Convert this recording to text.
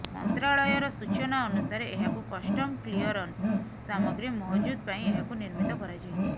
ମନ୍ତ୍ରାଳୟର ସୂଚନା ଅନୁସାରେ ଏହାକୁ କଷ୍ଟମ କ୍ଲିୟରନ୍ସ ସାମଗ୍ରୀ ମହଜୁଦ ପାଇଁ ଏହାକୁ ନିର୍ମିତ କରାଯାଇଛି